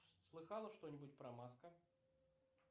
слыхала что нибудь про маска